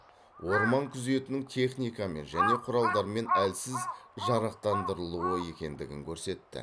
орман күзетінің техникамен және құралдармен әлсіз жарақтандырылуы екендігін көрсетті